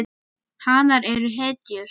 Hanar eru hetjur.